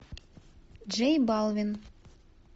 джей балвин